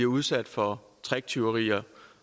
udsat for tricktyverier